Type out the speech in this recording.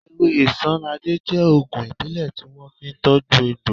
Ewé isanaje jẹ́ ògùn ìbílẹ̀ tí wọ́n fi ń tọju egbò